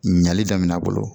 Ɲali daminɛna